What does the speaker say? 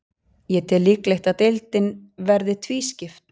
Ég tel líklegt að deildin verði tvískipt.